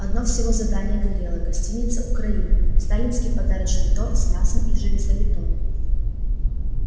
одно всего здание горело гостиница украина сталинский подарочный торт с мясом и железобетоном